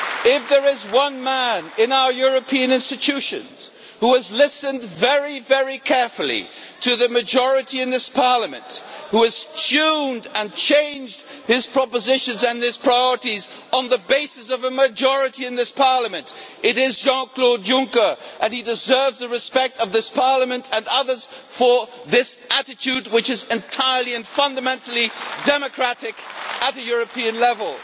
If there is one man in our European institutions who has listened very carefully to the majority in this Parliament, who has tuned and changed his propositions and his priorities on the basis of a majority in this Parliament, it is Jean Claude Juncker, and he deserves the respect of this Parliament and others for this attitude, which is entirely and fundamentally democratic at European level.